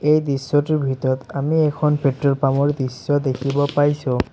এই দৃশ্যটোৰ ভিতৰত আমি এখন পেট্ৰল পাম্প ৰ দৃশ্য দেখিব পাইছোঁ।